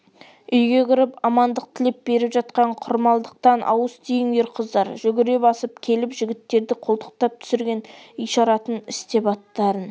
үйге кіріп амандық тілеп беріп жатқан құрмалдықтан ауыз тиіңдер қыздар жүгіре басып келіп жігіттерді қолтықтап түсірген ишаратын істеп аттарын